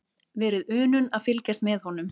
Verið unun að fylgjast með honum.